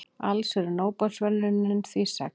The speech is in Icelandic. Alls eru Nóbelsverðlaunin því sex.